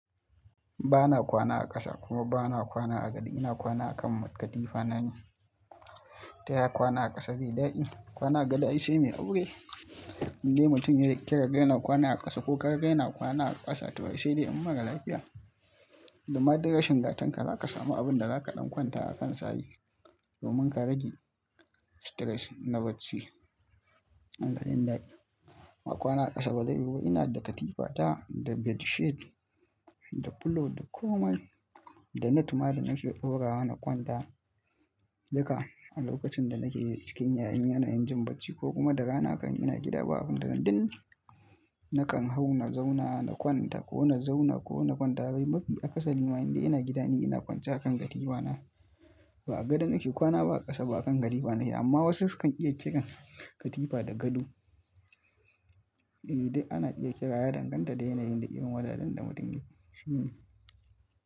Ba na kwana a ƙasa kuma ba na kwana a gado. Ina kwana a kan katifana ne. Taya kwana a ƙasa zaiyi daɗi? Kwana a gado, ai sai mai aure. Indai mutum ya kira kai na kwana a ƙasa ko ka kira kai na kwana a ƙasa, toh ai sai dai an yi mara lafiya. Da ma duk rashin gatan ka, za ka samu abin da za ka ɗan kwanta a kan sa ai, domin ka rage stress na bacci. Yanayin daɗi. Amma kwana ƙasa ba zai rufe ba. Ina da katifa, ta, da bedsheet, da pillow, da komai, da na tumadi. In shiga daurawa na kwanta duka a lokacin da nake cikin yayun yana injin bacci ko kuma da rana kan ina gida ba abun da zanyi. Nakan hau na zauna na kwanta ko na zauna ko na kwanta rai mafi a ƙasa. Ni ma indai ina gida ne ina kwance a kan katifana. Ba a gadon nake kwana ba, a ƙasa ba a kan katifana ne. Amma wasu su kan iya kiran katifa da gado. Eh duk ana iya kira, ya danganta da yanayin da irin wajajen da mutum yake. Hmm.